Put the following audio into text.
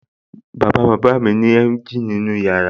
Bàbá bàbá mi ní emgyl nínú yàrá